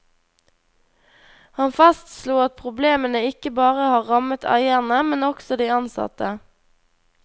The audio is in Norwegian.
Han fastslo at problemene ikke bare har rammet eierne, men også de ansatte.